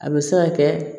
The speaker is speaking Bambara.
A bɛ se ka kɛ